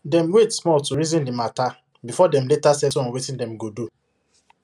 dem wait small to reason the matter before dem later settle on wetin dem go do